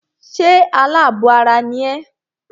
Ṣé alábọ̀ ara ni ẹ́?